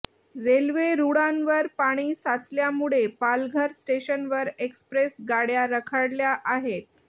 railway रुळांवर पाणी साचल्यामुळे पालघर स्टेशनवर एक्सप्रेस गाड्या रखडल्या आहेत